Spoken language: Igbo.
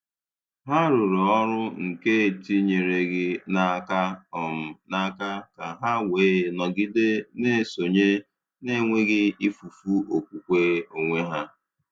Hà rùrù ọrụ nke etinyereghị n’aka um n’aka, ka hà wee nọgide na-esonye na-enweghị ifufu okwukwe onwe ha.